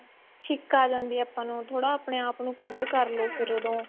ਛਿੱਕ ਆਂ ਜਾਂਦੀ ਏ ਆਪਾਂ ਨੂੰ ਥੋੜਾ ਆਪਣੇ ਆਪ ਨੂੰ cover ਕ਼ਰ ਲੋ ਫ਼ਿਰ ਉਦੋਂ